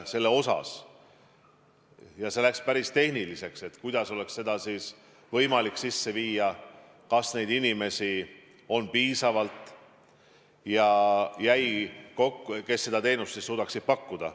See läks päris tehniliseks: kuidas oleks seda võimalik sisse viia, kas neid inimesi on piisavalt, kes seda teenust suudaksid pakkuda.